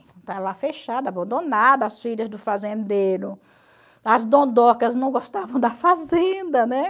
Estava lá fechada, abandonada, as filhas do fazendeiro, as dondocas não gostavam da fazenda, né?